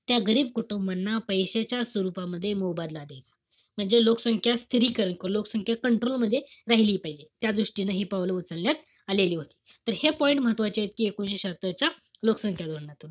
त्या गरीब कुटुंबाना पैशाचा स्वरूपामध्ये मोबदला देणं. म्हणजे लोकसंख्या स्थिरीकरण किंवा लोकसंख्या control मध्ये राहिली पाहिजे. त्या दृष्टीनं हि पावलं उचलण्यात आलेली होती. तर हे point महत्वाचे ए कि एकोणीशे शहात्तर च्या लोकसंख्या धोरणातून.